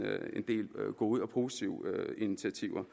del gode og positive initiativer